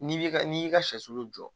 N'i bɛ ka n'i y'i ka sɛsulu jɔ